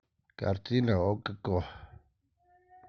картина окко